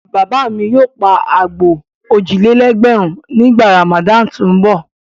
Bàbá mi yóò pa àgbò òjì-lé-ẹgbẹ̀rún nígbà Ramadan tó ń bọ̀.